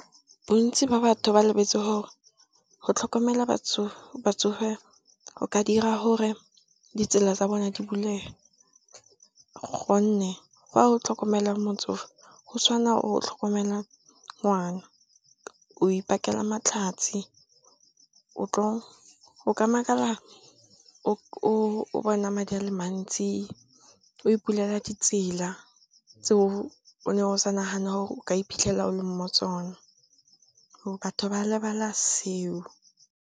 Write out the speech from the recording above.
Bontsi ba batho ba lebetse gore go tlhokomela batsofe go ka dira gore ditsela tsa bone di bulege, gonne ga o tlhokomela motsofe go tshwana o tlhokomela ngwana. O ipakela matlhatsi, o ka makala o bona madi a le mantsi, o ipulela di tsela tse o ne o sa nagana gore o ka iphitlhela o le mo tsona. Batho ba lebala seo.